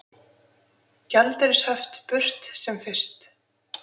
Gjaldeyrishöft burt sem fyrst